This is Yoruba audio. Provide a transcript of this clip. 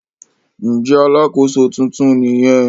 Ǹjẹ́ alàkóso tuntun nìyẹn?